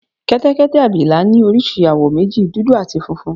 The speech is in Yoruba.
Kẹ́tẹ́kẹ́tẹ́ abìlà ní oríṣi àwọ̀ méjì, dúdú áti funfun